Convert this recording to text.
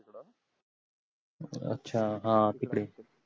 अच्छा हा तिकडे